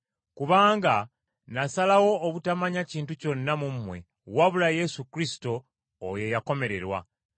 Kubanga nasalawo obutamanya kintu kyonna mu mmwe wabula Yesu Kristo oyo eyakomererwa.